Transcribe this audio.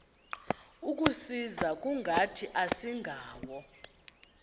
kusisa kungathi asingawo